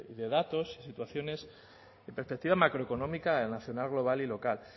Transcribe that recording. de datos situaciones de perspectiva macroeconómica el nacional global y local